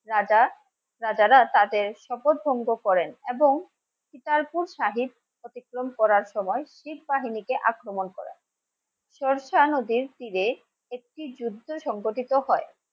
রাজা রাজারা তাদের শপথ ভঙ্গ করেন এবং অতিক্রম করার সময় বাহিনি কে আক্রমন করেন সরসা নদীর তরে একটি যুদ্ধ সংগঠিত হয়